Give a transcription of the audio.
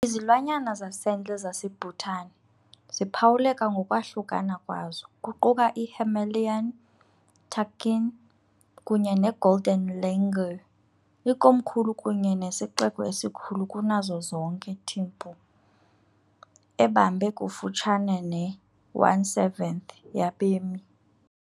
Izilwanyana zasendle zaseBhutan ziphawuleka ngokwahlukana kwazo, kuquka i- Himalayan takin kunye ne- golden langur . Ikomkhulu kunye nesixeko esikhulu kunazo zonke Thimphu, ebambe kufutshane ne-1 7th yabemi.